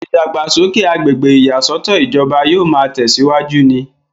ìdàgbàsókè agbègbè ìyàsọ́tọ̀ ìjọba yóò máa tẹ̀síwájú ni